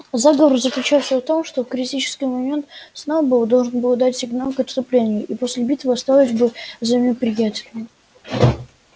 заговор заключался в том что в критический момент сноуболл должен был дать сигнал к отступлению и после битвы осталось бы за неприятелем